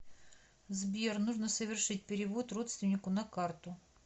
сбер нужно совершить перевод родственнику на карту